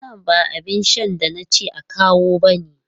Wannan ba abin shan da na ce a kawo bane!